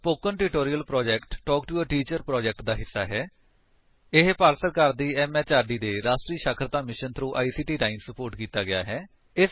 spoken tutorial project talk to a teacher project ਦਾ ਹਿੱਸਾ ਹੈ ਜੋ ਭਾਰਤ ਸਰਕਾਰ ਦੀ ਐਮਐਚਆਰਡੀ ਦੇ ਰਾਸ਼ਟਰੀ ਸਾਖਰਤਾ ਮਿਸ਼ਨ ਥ੍ਰੋ ਆਈਸੀਟੀ ਰਾਹੀਂ ਸੁਪੋਰਟ ਕੀਤਾ ਗਿਆ ਹੈ